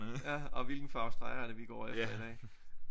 Ja og hvilken farve streger er det vi går efter i dag